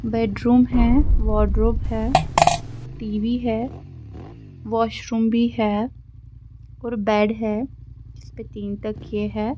.bedroom ہیں wardrobe ہیں TV ہیں واشروم بھی ہیں اور بید ہیں جس پہ تین تکیے ہیں